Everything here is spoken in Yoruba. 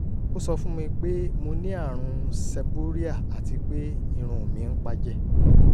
ó sọ fún mi pé mo ní àrùn seborrhea àti pé irun mi ń pá jẹ